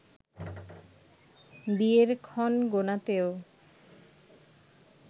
বিয়ের ক্ষণ গোনাতেও